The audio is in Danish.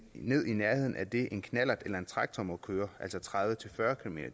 ned i nærheden af det en knallert eller en traktor må køre altså tredive til fyrre kilometer